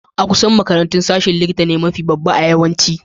A'kusan duk makarantu, sashen likitta ne mafi babba a yawanci.